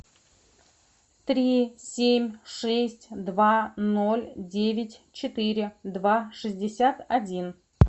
три семь шесть два ноль девять четыре два шестьдесят один